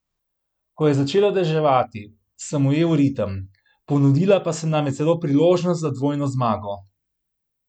Ko je začelo deževati, sem ujel ritem, ponudila pa se nam je celo priložnost za dvojno zmago.